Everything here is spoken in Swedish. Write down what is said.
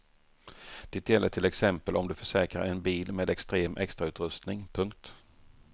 Det gäller till exempel om du försäkrar en bil med extrem extrautrustning. punkt